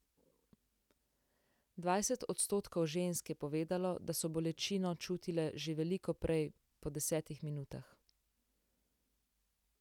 Dvajset odstotkov žensk je povedalo, da so bolečino čutile že veliko prej, po desetih minutah.